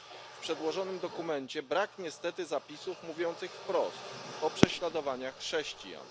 W przedłożonym dokumencie brak niestety zapisów mówiących wprost o prześladowaniach chrześcijan.